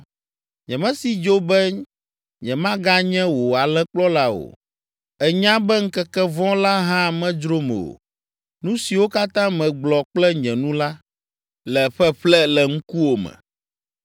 Nyemesi dzo be nyemaganye wò alẽkplɔla o; ènya be ŋkeke vɔ̃ la hã medzrom o. Nu siwo katã megblɔ kple nye nu la, le ƒeƒle le ŋkuwòme.